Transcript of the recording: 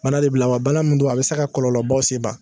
Bana de bila wa bana min don a be se ka kɔlɔlɔbaw sen i ma